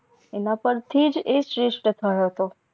એના પરથીજ એ શ્રેસ્થ થયો હતો